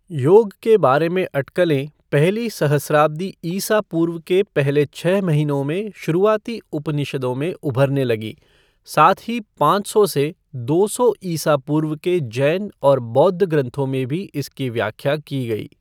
योग के बारे में अटकलें पहली सहस्राब्दी ईसा पूर्व के पहले छः महीनों में शुरुआती उपनिषदों में उभरने लगीं, साथ ही पाँच सौ से दो सौ ईसा पूर्व के जैन और बौद्ध ग्रंथों में भी इसकी व्याख्या की गई।